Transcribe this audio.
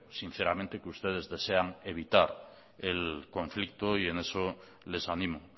sinceramente que ustedes desean evitar el conflicto y en eso les animo